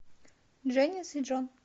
дженис и джон